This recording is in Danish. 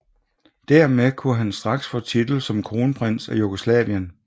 Dermed kunne han straks få titel som kronprins af Jugoslavien